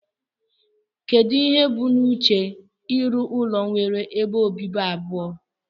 Kedu ihe ubu na uche irụ ụlọ nwere ebe obibi abụọ?